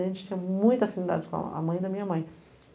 A gente tinha muita afinidade com a a mãe da minha mãe.